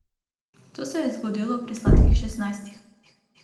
To se je zgodilo pri sladkih šestnajstih.